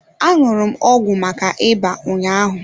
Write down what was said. Aṅụrụ m ọgwụ maka ịba ụnyaahụ.